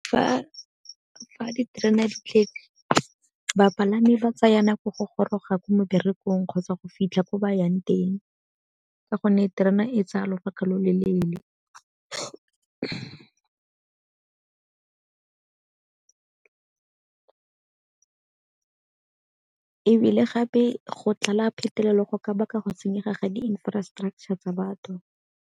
Fa diterene di tletse, bapalami ba tsaya nako go goroga ko meberekong kgotsa go fitlha ko ba yang teng ka gonne terena e tsaya lobaka lo lo leele. Ebile gape go tlala phetelela go ka baka go senyega ga di-infrastructure tsa batho.